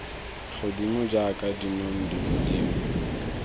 godimo jaaka dinong dilo dingwe